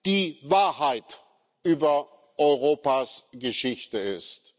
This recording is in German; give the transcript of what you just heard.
die Wahrheit über Europas Geschichte ist.